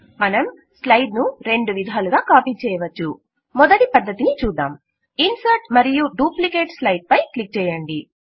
మనం స్లైడ్ ను రెండు విధాలుగా కాపీ చేయవచ్చు మొదటి పద్ధతిని చూద్దాం ఇన్సర్ట్ మరియు డూప్లికేట్ స్లైడ్ పై క్లిక్ చేయండి